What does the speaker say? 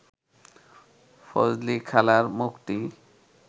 ফজলিখালার মখ’টি